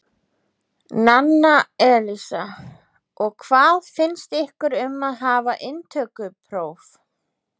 Nanna Elísa: Og hvað finnst ykkur um að hafa inntökupróf?